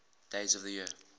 days of the year